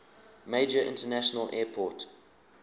major international airport